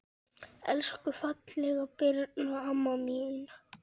Elsku fallega Birna amma mín.